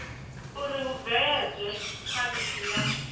uri hu bveledzwe khwalithi ya